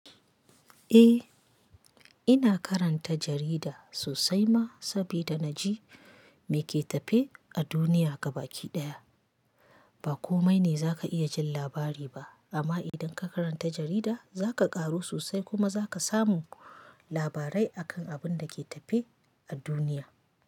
Eh, ina karanta jarida sosai ma sabida na ji me ke tafe a duniya gaba ki ɗaya. Ba komai ne za ka iya jin labari ba amma idan ka karanta jarida za ka ƙaru sosai kuma za ka samu labarai akan abin da ke tafe a duniya.